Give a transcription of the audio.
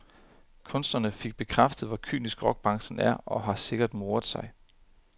Kunstneren fik bekræftet, hvor kynisk rockbranchen er og har sikkert moret sig.